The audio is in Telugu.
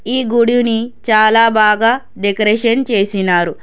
ఈ గుడుని చాలా బాగా డెకరేషన్ చేసినారు.